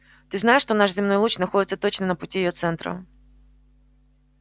ты знаешь что наш земной луч находится точно на пути её центра